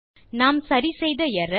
நாம் சரி செய்த எர்ரர்